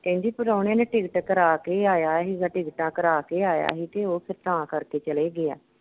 ਕਹਿੰਦੀ ਪ੍ਰਾਹੁਣੇ ਨੇ ticket ਕਰਾਕੇ ਹੀ ਆਇਆ ਹੀਗਾ ਟਿਕਟਾਂ ਕਰਾ ਕੇ ਹੀ ਕਿ ਆਇਆ ਹੀ ਕਿ ਕਿ ਓਹ ਫਿਰ ਤਾਂ ਕਰਕੇ ਚਲਾ ਗਿਆ।